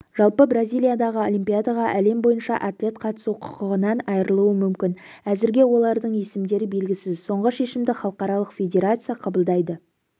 жалпы бразилиядағы олимпиадаға әлем бойынша атлет қатысу құқығынан айырылуы мүмкін әзірге олардың есімдері белгісіз соңғы шешімді халықаралық федерация қабылдайды